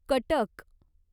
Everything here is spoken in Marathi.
कटक